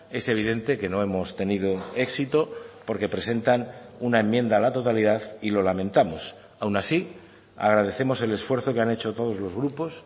es evidente que no hemos tenido éxito porque presentan una enmienda a la totalidad y lo lamentamos aun así agradecemos el esfuerzo que han hecho todos los grupos